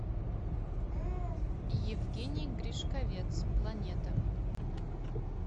евгений гришковец планета